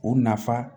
O nafa